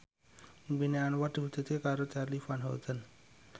impine Anwar diwujudke karo Charly Van Houten